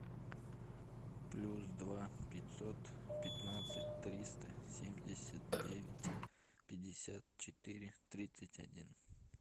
плюс два пятьсот пятнадцать триста семьдесят девять пятьдесят четыре тридцать один